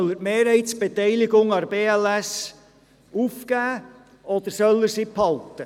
Soll er die Mehrheitsbeteiligung aufgeben, oder soll er sie behalten?